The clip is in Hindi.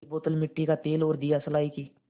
एक बोतल मिट्टी का तेल और दियासलाई की